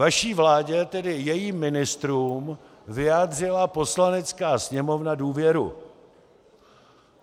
Vaší vládě, tedy jejím ministrům vyjádřila Poslanecká sněmovna důvěru.